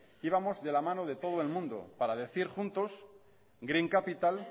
íbamos de la mano de todo el mundo para decir juntos green capital